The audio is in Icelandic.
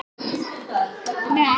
Myndin er fengin af sama vef.